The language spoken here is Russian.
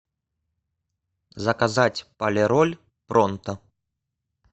заказать полироль пронто